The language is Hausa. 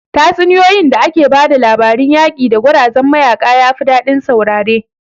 Tatsuniyoyin da ake ba da labarun yaƙi da gwarazan mayaƙa yafi daɗin saurare